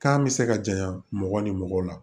Kan bɛ se ka janya mɔgɔ ni mɔgɔw la